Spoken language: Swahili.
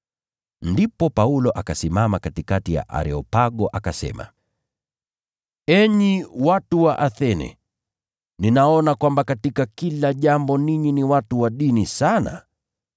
Ndipo Paulo akasimama katikati ya Areopago akasema, “Enyi watu wa Athene! Ninaona kwamba katika kila jambo ninyi ni watu wa dini sana.